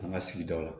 An ka sigidaw la